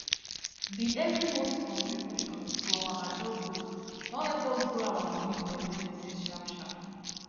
the every month contribution to our ajo group don help us grow our money for emergency sharp sharp